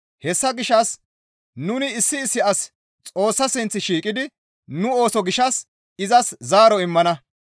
Hessa gishshas nuni issi issi asi Xoossa sinth shiiqidi nu ooso gishshas izas zaaro immana.